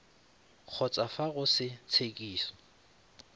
kgotsa fa go se tshekiso